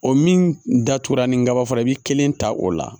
O min datugula ni gabafe bi kelen ta o la